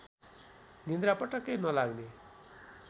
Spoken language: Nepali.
निद्रा पटक्कै नलाग्ने